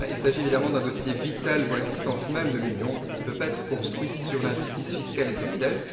Il s'agit évidemment d'un dossier vital pour l'existence même de l'Union, qui ne peut pas être construite sur l'injustice fiscale et sociale.